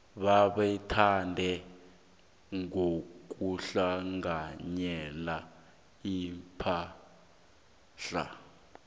bebatjhade ngokuhlanganyela ipahla